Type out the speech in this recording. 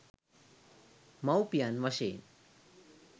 මව්පියන් වශයෙන්